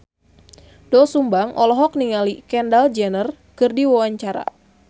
Doel Sumbang olohok ningali Kendall Jenner keur diwawancara